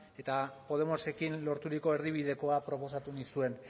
eta podemosekin lorturiko erdibidekoa proposatu nizuen